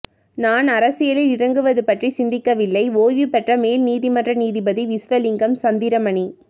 நான் அரசியலில் இறங்குவது பற்றி சிந்திக்கவில்லை ஒய்வு பெற்ற மேல் நீதிமன்ற நீதிபதி விஸ்வலிங்கம் சந்திரமணி